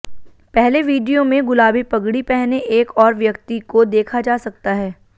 पहले वीडियो में गुलाबी पगड़ी पहने एक और व्यक्ति को देखा जा सकता है